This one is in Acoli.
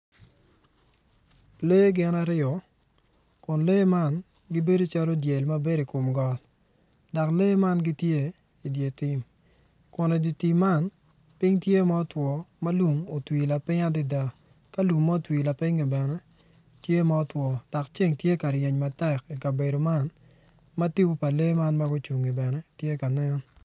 Lee gin aryo kun lee man gibedo calo dyel ma bedo i kom got dok lee man gitye idye tim kun idye tim man piny tye ma otwo ma lum otwi lapiny adada ka lum ma twi lapiny bene tye ma otwo dok ceng tye ka ryeny matek i kabedo man ma tipo pa lee man ma gucungi bene tye ka nen.